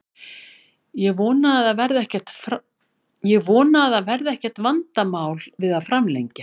Ég vona að það verði ekkert vandamál við að framlengja.